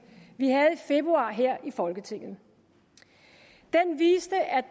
vi havde i februar her i folketinget den viste at